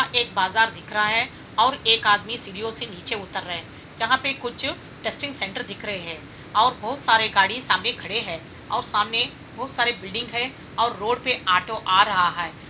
एक बाजार दिख रहा है और एक आदमी सीढ़ियों से नीचे उतर रहे हैं| यहाँ पे कुछ टेस्टिंग सेंटर दिख रहे हैं और बहोत सारे गाड़ी सामने खड़े हैं और सामने बहोत सारे बिल्डिंग है और रोड पे ऑटो आ रहा है।